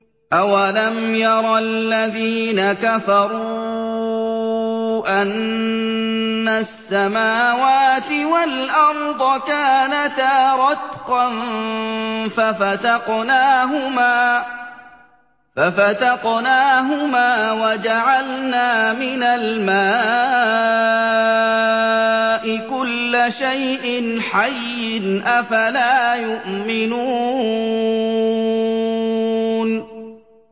أَوَلَمْ يَرَ الَّذِينَ كَفَرُوا أَنَّ السَّمَاوَاتِ وَالْأَرْضَ كَانَتَا رَتْقًا فَفَتَقْنَاهُمَا ۖ وَجَعَلْنَا مِنَ الْمَاءِ كُلَّ شَيْءٍ حَيٍّ ۖ أَفَلَا يُؤْمِنُونَ